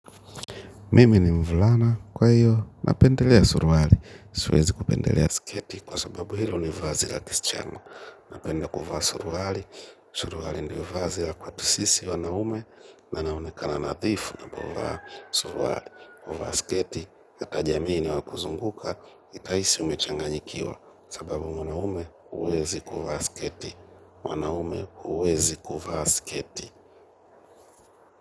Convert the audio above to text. Mimi ni mvulana, kwa hiyo, napendelea suruali, siwezi kupendelea sketi, kwa sababu hilo ni vazi la kischana. Napenda kuvaa suruali, suruali ndiyo vazi la kwetu sisi wanaume, na naonekana nadhifu napovaa suruali, kuvaa sketi, hata jamii inayo kuzunguka, itahisi umechanganyikiwa, sababu mwanaume huwezi kuvaa sketi, wanaume uwezi kuvaa sketi.